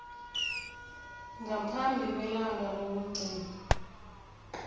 ngaphambi kwelanga lokugcina